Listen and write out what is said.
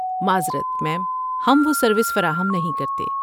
معذرت، میم۔ ہم وہ سروس فراہم نہیں کرتے۔